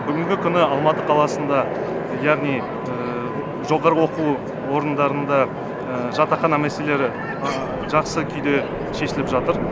бүгінгі күні алматы қаласында яғни жоғары оқу орындарында жатақхана мәселелері жақсы күйде шешіліп жатыр